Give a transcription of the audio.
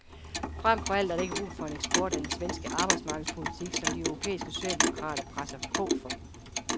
Fremfor alt er der ikke brug for en eksport af den svenske arbejdsmarkedspolitik, som de europæiske socialdemokrater presser på for.